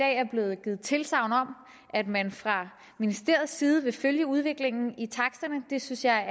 er blevet givet tilsagn om at man fra ministeriets side vil følge udviklingen i taksterne det synes jeg er